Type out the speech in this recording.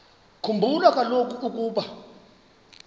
khumbula kaloku ukuba